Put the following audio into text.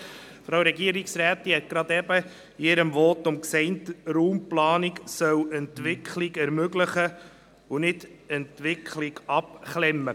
Die Frau Regierungsrätin hat soeben in ihrem Votum gesagt, Raumplanung solle Entwicklung ermöglichen und nicht Entwicklung abklemmen.